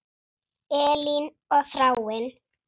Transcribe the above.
Elín og Þráinn.